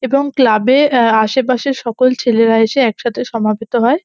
এবং ক্লাব -এ অ্যা আশেপাশে সকল ছেলেরা এসে একসাথে সমাবেত হয়।